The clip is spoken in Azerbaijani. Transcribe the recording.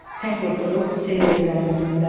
Tək oturub seyr edirəm özümdə.